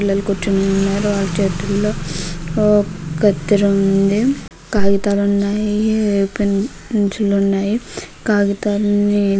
పిల్లలు కూర్చుని ఉన్నారు. వాళ్ళ చేతిలో కత్తిర ఉంది. కాగితాలు ఉన్నాయి. పెన్ పెన్సిల్ ఉన్నాయి. కాగితాలని--